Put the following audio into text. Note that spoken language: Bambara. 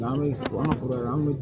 An bɛ an ka foro la an bɛ